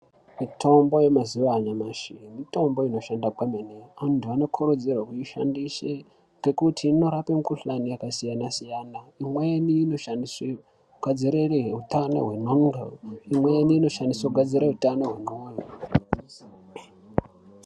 Mitombo yemazuwaanyamashi mitombo inoshanda kwemene anthu anokurudzirwe kuishandise nekuti inorape mikuhlani yakasiyana siyana imweni inoshandiswe kugadzire utano hwendxondo .